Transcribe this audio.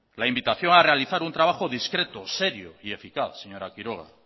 la invitación a realizar un trabajo discreto serio y eficaz señora quiroga